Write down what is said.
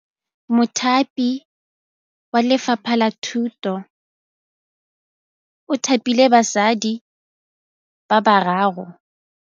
Mothapi wa Lefapha la Thutô o thapile basadi ba ba raro.